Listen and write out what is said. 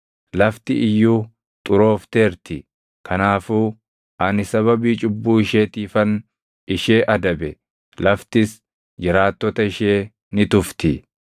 Lafti iyyuu xuroofteerti; kanaafuu ani sababii cubbuu isheetiifan ishee adabe; laftis jiraattota ishee ni tufti.